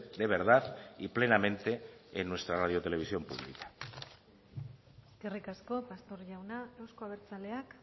de verdad y plenamente en nuestra radio televisión pública eskerrik asko pastor jauna euzko abertzaleak